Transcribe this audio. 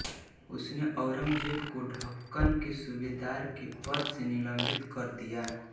उसने औरंगज़ेब को दक्कन के सूबेदार के पद से निलम्बित कर दिया